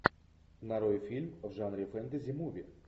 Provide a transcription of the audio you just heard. нарой фильм в жанре фэнтези муви